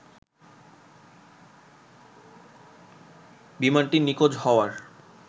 বিমানটির নিখোঁজ হওয়ার